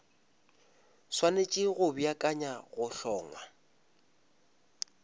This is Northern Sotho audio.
swanetše go beakanyetša go hlongwa